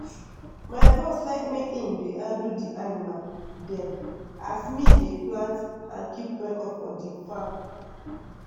my bros make im like dey handle the animal dem as me dey plant and keeep record for the farm